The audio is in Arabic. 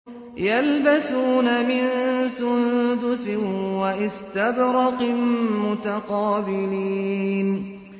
يَلْبَسُونَ مِن سُندُسٍ وَإِسْتَبْرَقٍ مُّتَقَابِلِينَ